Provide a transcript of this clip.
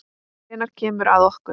Hvenær kemur að okkur?